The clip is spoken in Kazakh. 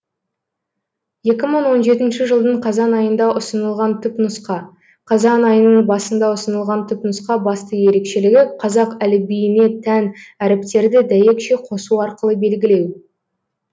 екі мың он жетінші жылдың қазан айында ұсынылған түпнұсқа қазан айының басында ұсынылған түпнұсқа басты ерекшелігі қазақ әліпбиіне тән әріптерді дәйекше қосу арқылы белгілеу